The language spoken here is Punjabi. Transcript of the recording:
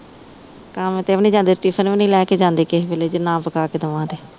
ਕੰਮ ਤੇ ਵੀ ਨੀ ਜਾਂਦੇ ਟਿਫਨ ਵੀ ਨੀ ਲੈ ਕ ਜਾਂਦੇ ਕਿਹ ਵੇਲੇ ਜ ਨਾ ਪਕਾ ਕ ਦਵਾਂ ਤੇ